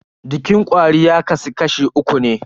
Jikin kwari ya kasu kashi uku ne.